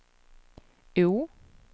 O